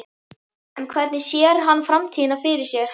En hvernig sér hann framtíðina fyrir sér?